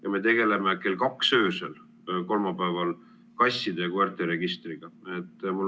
Ja me tegeleme kolmapäeval kell 2 öösel kasside ja koerte registriga.